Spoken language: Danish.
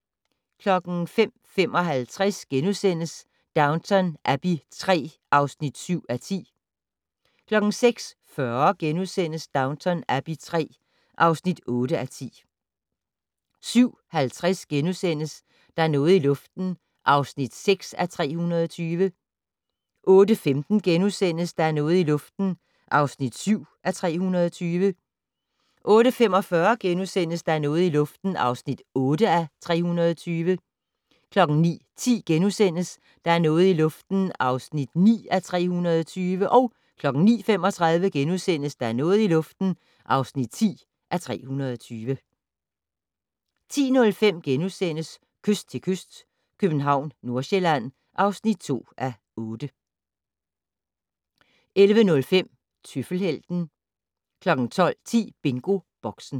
05:55: Downton Abbey III (7:10)* 06:40: Downton Abbey III (8:10)* 07:50: Der er noget i luften (6:320)* 08:15: Der er noget i luften (7:320)* 08:45: Der er noget i luften (8:320)* 09:10: Der er noget i luften (9:320)* 09:35: Der er noget i luften (10:320)* 10:05: Kyst til kyst - København/Nordsjælland (2:8)* 11:05: Tøffelhelten 12:10: BingoBoxen